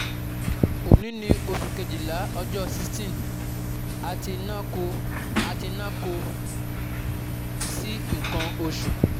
Oni ni osu kejila ojo sixteen ati na ko ati na ko si ikan osu